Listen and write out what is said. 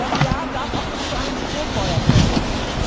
Das Jahr darf auch nicht zu einem Strohfeuer verkommen.